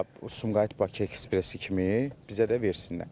Bax Sumqayıt-Bakı ekspressi kimi bizə də versinlər.